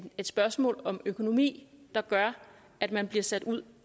et spørgsmål om økonomi der gør at man bliver sat ud